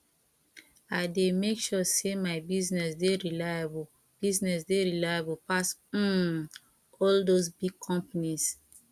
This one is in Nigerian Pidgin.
i dey make sure sey my business dey reliable business dey reliable pass um all dese big companies